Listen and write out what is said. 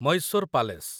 Mysore palace